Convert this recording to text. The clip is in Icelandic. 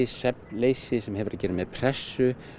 svefnleysi sem hefur að gera með pressu